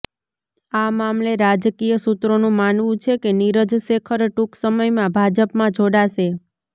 આ મામલે રાજકીય સૂત્રોનું માનવું છે કે નીરજ શેખર ટૂંક સમયમાં ભાજપમાં જોડાશે